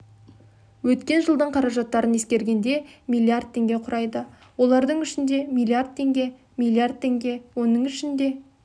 өткен жылдың қаражаттарын ескергенде миллиард теңге құрайды олардың ішінде миллиард теңге миллиард теңге оның ішінде